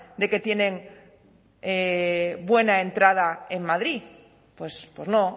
de que tienen buena entrada en madrid pues no